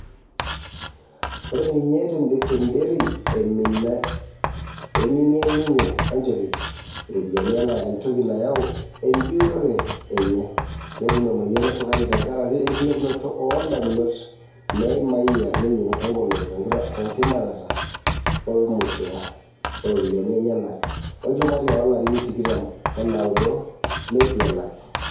Ore ninye te Nderi, eiminia ninye Wanjohi iropiyiani enaa entoki nayaua eejutore enye, netum emoyian esukari tenkari enkilepunoto oo damunot neimayia ninye egoloto tenkiminata oolmushara o ropiyiani enyanak olchumati oolarin tikitam onaudo neitu elaki.